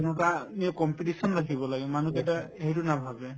সেনেকুৱা competition ৰাখিব লাগে মানুহকেইটাই সেইটো নাভাবে